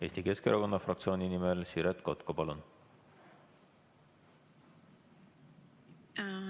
Eesti Keskerakonna fraktsiooni nimel Siret Kotka, palun!